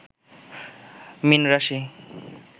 মীন রাশি